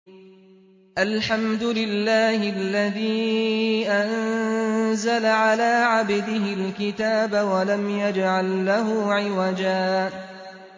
الْحَمْدُ لِلَّهِ الَّذِي أَنزَلَ عَلَىٰ عَبْدِهِ الْكِتَابَ وَلَمْ يَجْعَل لَّهُ عِوَجًا ۜ